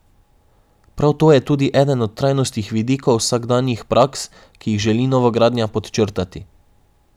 Prav to je tudi eden trajnostnih vidikov vsakdanjih praks, ki jih želi novogradnja podčrtati.